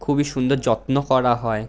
খুবই সুন্দর যত্ন করা হয় ।